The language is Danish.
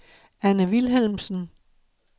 Anne Vilhelmsen